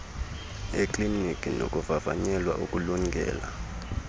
ekliniki nokuvavanyelwa ukulungela